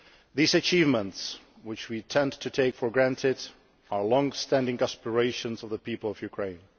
These achievements, which we tend to take for granted, are the long standing aspirations of the people of Ukraine.